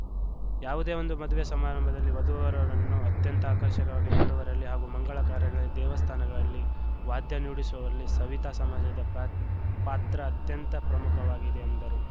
ಯಾವುದೇ ಒಂದು ಮದುವೆ ಸಮಾರಂಭದಲ್ಲಿ ವಧುವರರನ್ನು ಅತ್ಯಂತ ಆಕರ್ಷಕವಾಗಿ ಮಾಡುವರಲ್ಲಿ ಹಾಗೂ ಮಂಗಳ ಕಾರ್ಯಗಳಲ್ಲಿ ದೇವಸ್ಥಾನಗಳಲ್ಲಿ ವಾದ್ಯ ನುಡಿಸುವವರಲ್ಲಿ ಸವಿತಾ ಸಮಾಜದ ಪ್ರಾ ಪಾತ್ರ ಅತ್ಯಂತ ಪ್ರಮುಖವಾಗಿದೆ ಎಂದರು